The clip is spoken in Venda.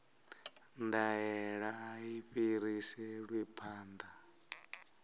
ndaela a i fhiriselwi phanḓa